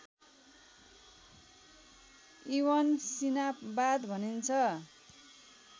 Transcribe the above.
इबनसीनावाद भनिन्छ